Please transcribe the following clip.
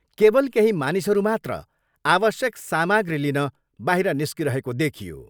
केवल केही मानिसहरू मात्र आवश्यक सामाग्री लिन बाहिर निस्किरहेको देखियो।